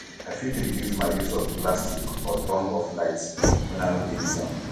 i fit reduce my use of plastic or turn off lights when i no dey use am